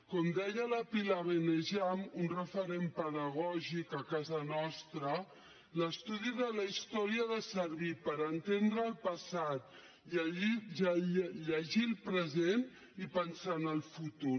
com deia la pilar benejam un referent pedagògic a casa nostra l’estudi de la història ha de servir per entendre el passat llegir el present i pensar en el futur